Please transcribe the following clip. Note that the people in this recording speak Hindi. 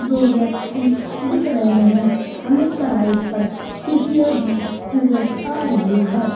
हमें दो व्यक्ति दिख रहे हैं हमें कड़ाही पर टिकिया भी नजर आ रही है।